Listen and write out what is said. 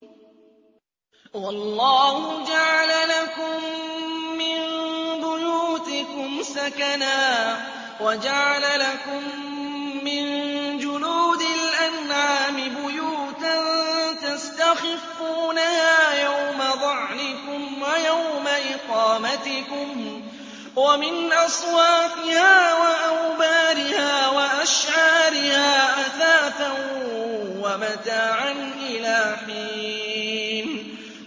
وَاللَّهُ جَعَلَ لَكُم مِّن بُيُوتِكُمْ سَكَنًا وَجَعَلَ لَكُم مِّن جُلُودِ الْأَنْعَامِ بُيُوتًا تَسْتَخِفُّونَهَا يَوْمَ ظَعْنِكُمْ وَيَوْمَ إِقَامَتِكُمْ ۙ وَمِنْ أَصْوَافِهَا وَأَوْبَارِهَا وَأَشْعَارِهَا أَثَاثًا وَمَتَاعًا إِلَىٰ حِينٍ